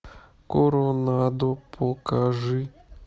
коронаду покажи